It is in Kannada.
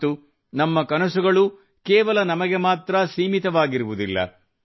ಮತ್ತು ನಮ್ಮ ಕನಸುಗಳನ್ನು ಕೇವಲ ನಮಗೆ ಮಾತ್ರ ಸೀಮಿತವಾಗಿರುವುದಿಲ್ಲ